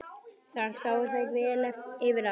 Þar sáu þær vel yfir allt.